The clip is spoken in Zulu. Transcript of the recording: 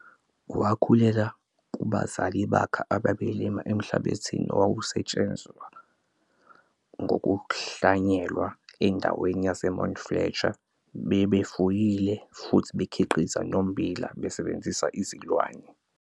Wakhulela kubazali bakhe ababelima emhlabathini owawusetshezwa ngokuhlanyela endaweni yase-Mount Fletcher. Babefuyile futhi bekhiqiza nommbila besebenzisa izilwane.